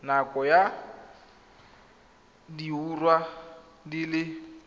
nakong ya diura di le